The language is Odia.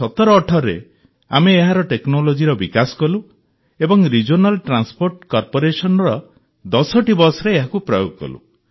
୨୦୧୭୧୮ରେ ଆମେ ଏହାର ଟେକ୍ନୋଲୋଜିର ବିକାଶ କଲୁ ଏବଂ ରିଜିଓନାଲ୍ ଟ୍ରାନ୍ସପୋର୍ଟ କର୍ପୋରେସନର ୧୦ଟି ବସ୍ରେ ଏହାକୁ ପ୍ରୟୋଗ କଲୁ